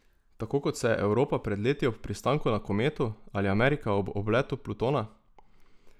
Tako kot se je Evropa pred leti ob pristanku na kometu, ali Amerika ob obletu Plutona?